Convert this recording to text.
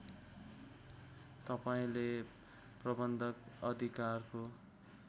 तपाईँले प्रबन्धक अधिकारको